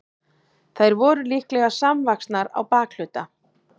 þær voru líklega samvaxnar á bakhluta